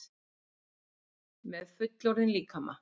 Með fullorðinn líkama.